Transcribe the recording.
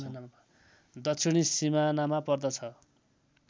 दक्षिणी सिमानामा पर्दछ